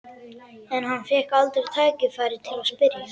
En hann fékk aldrei tækifæri til að spyrja.